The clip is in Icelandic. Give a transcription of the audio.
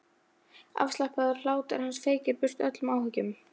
Afslappaður hlátur hans feykir burt öllum áhyggjum.